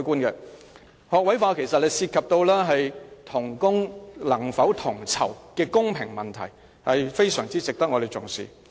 學位化其實涉及同工能否同酬的公平問題，非常值得我們重視。